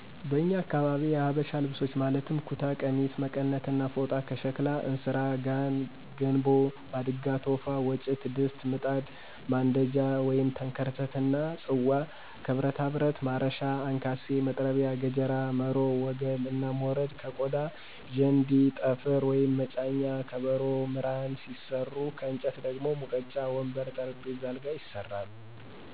በኛ አካባቢ የሀበሻ ልብሶች ማለትም ኩታ፣ ቀሚስ፣ መቀነት እና ፎጣ፤ ከሸክላ እንስራ፣ ጋን፣ ገንቦ፣ ማድጋ፣ ቶፋ፣ ወጭት፣ ድስት፣ ምጣድ፣ ማንደጃ(ተንከርተት)እና ጽዋ፤ ከብረታብረት ማረሻ፣ አንካሴ፣ መጥረቢያ፣ ገጀራ፣ መሮ፣ ወገል እና ሞረድ፤ ከቆዳ ዠንዲ፣ ጠፍር(መጫኛ)፣ከበሮ፣ ምራን ሲሰሩ ከእንጨት ደግሞ ሙቀጫ፣ ወንበር፣ ጠረንጴዛ፣ አልጋ ይሰራሉ።